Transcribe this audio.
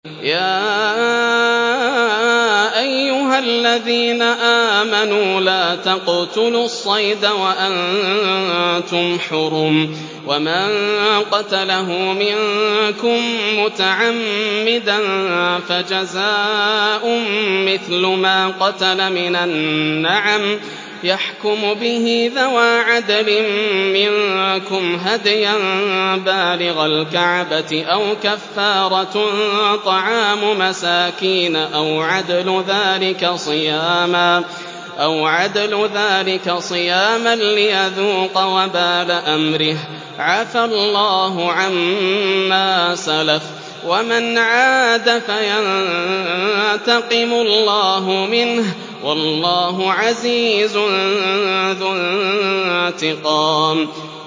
يَا أَيُّهَا الَّذِينَ آمَنُوا لَا تَقْتُلُوا الصَّيْدَ وَأَنتُمْ حُرُمٌ ۚ وَمَن قَتَلَهُ مِنكُم مُّتَعَمِّدًا فَجَزَاءٌ مِّثْلُ مَا قَتَلَ مِنَ النَّعَمِ يَحْكُمُ بِهِ ذَوَا عَدْلٍ مِّنكُمْ هَدْيًا بَالِغَ الْكَعْبَةِ أَوْ كَفَّارَةٌ طَعَامُ مَسَاكِينَ أَوْ عَدْلُ ذَٰلِكَ صِيَامًا لِّيَذُوقَ وَبَالَ أَمْرِهِ ۗ عَفَا اللَّهُ عَمَّا سَلَفَ ۚ وَمَنْ عَادَ فَيَنتَقِمُ اللَّهُ مِنْهُ ۗ وَاللَّهُ عَزِيزٌ ذُو انتِقَامٍ